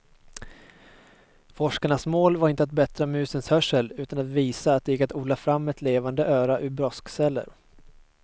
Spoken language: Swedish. Forskarnas mål var inte att bättra musens hörsel utan att visa att det gick att odla fram ett levande öra ur broskceller.